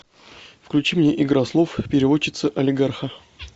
включи мне игра слов переводчица олигарха